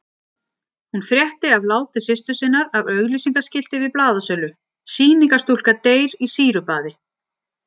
Ég vil taka það fram að ég tel eðlilegt að sniða augljósa hnökra af löggjöf.